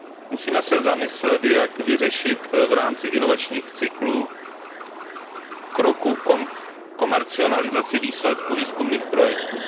Musíme se zamyslet, jak vyřešit v rámci inovačních kroků komercializaci výsledků výzkumných projektů.